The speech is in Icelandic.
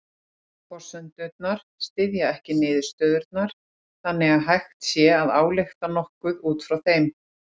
Forsendurnar styðja ekki niðurstöðurnar þannig að hægt sé að álykta nokkuð út frá þeim.